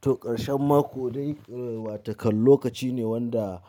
To, ƙarshen mako dai watakan lokaci ne wanda